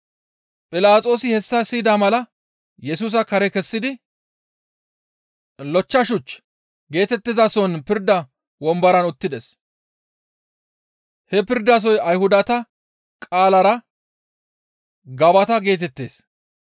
Philaxoosi hessa siyida mala Yesusa kare kessidi, «Lochcha shuch» geetettizason pirda womboran uttides. He pirdasoy Ayhudata qaalara, «Gabata» geetettees.